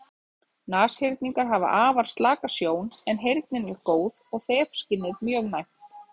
Nashyrningar hafa afar slaka sjón en heyrnin er góð og þefskynið mjög næmt.